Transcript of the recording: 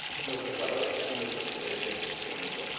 nuestros valores y nuestros intereses en el mundo.